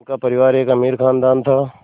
उनका परिवार एक अमीर ख़ानदान था